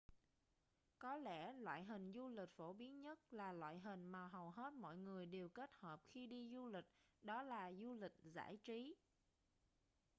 có lẽ loại hình du lịch phổ biến nhất là loại hình mà hầu hết mọi người đều kết hợp khi đi du lịch đó là du lịch giải trí